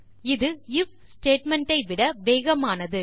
இது IF statement ஐ விட வேகமானது